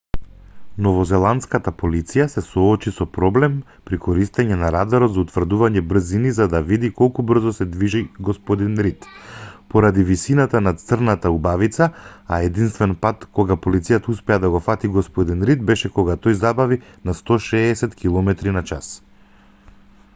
новозеландската полиција се соочи со проблем при користење на радарот за утврдување брзини за да види колку брзо се движи г рид поради висината на црната убавица а единствен пат кога полицијата успеа да го фати г рид беше кога тој забави на 160 км на час